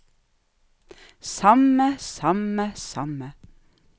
samme samme samme